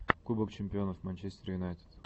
кубок чемпионов манчестер юнайтед